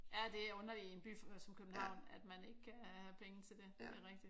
Ja det er underligt i en by som København at man ikke kan have penge til det det er rigtigt